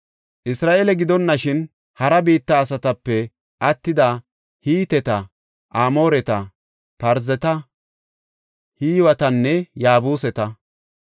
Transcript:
Isra7eele gidonashin hara biitta asatape attida Hiteta, Amooreta, Parzeta, Hiwetanne Yaabuseta,